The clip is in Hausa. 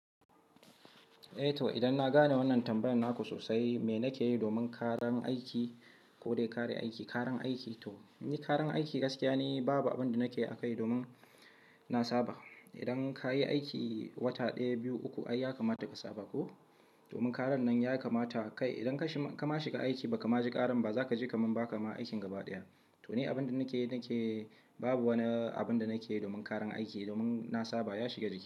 Eh to idan na gane wannan tambayar naku sosai, me nake yi domin ƙaran aiki ko dai kare aiki? Ƙaran aiki gaskiya ni babu abin da nake yi akai domin na saba. Idan ka yi aiki wata ɗaya, biyu, uku ai ya kamata ka saba ko? Domin ƙaran nan ya kamata kai idan kama shiga aiki ba ka ma ji ƙaran ba zaka ji kamar ba ka ma aikin gaba ɗaya. To ni abin da nake yi babu wani abin da nake yi domin ƙaran aiki, domin na saba ya shiga jikina.